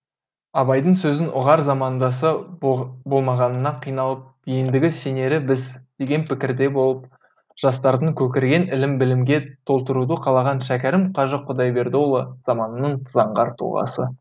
абайдың сөзін ұғар замандасы болмағанына қиналып ендігі сенері біз деген пікірде болып жастардың көкірегін ілім білімге толтыруды қалаған шәкәрім қажы құдайбердіұлы заманының заңғар тұлғасы